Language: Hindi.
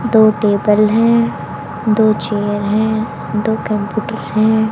दो टेबल हैं दो चेयर हैं दो कंप्यूटर है।